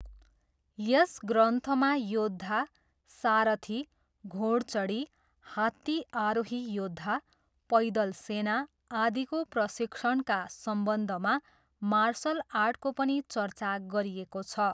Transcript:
यस ग्रन्थमा योद्धा, सारथी, घोडचढी, हात्ती आरोही योद्धा, पैदल सेना, आदिको प्रशिक्षणका सम्बन्धमा मार्सल आर्टको पनि चर्चा गरिएको छ।